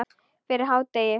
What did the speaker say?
Fyrir hádegi.